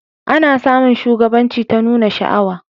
A na samun shugabanci ta nuna sha'awa